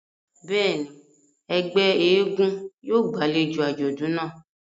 Bẹ́ẹ̀ni, ẹgbẹ èègún yóò gbàlejo àjọdun náa.